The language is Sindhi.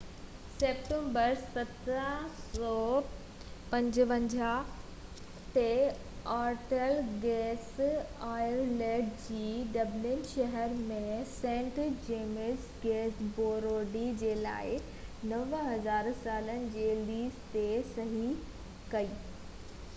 24 سيپٽمبر 1759 تي، آرٿر گنيس آئرليند جي ڊبلن شهر ۾ سينٽ جيمز گيٽ بريوري جي لاءِ 9،000 سالن جي ليز تي صحي ڪئي